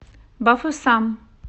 бафусам